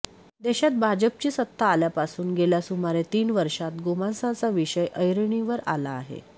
देशात भाजपची सत्ता आल्यापासून गेल्या सुमारे तीन वर्षांत गोमांसाचा विषय ऐरणीवर आला आहे